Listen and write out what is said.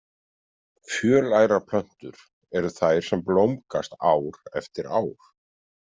Fjölærar plöntur eru þær sem blómgast ár eftir ár.